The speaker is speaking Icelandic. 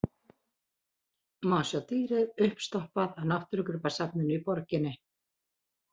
Má sjá dýrið uppstoppað á náttúrugripasafninu í borginni.